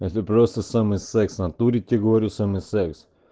это просто самый секс в натуре тебе говорю самый секс